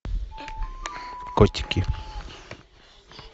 котики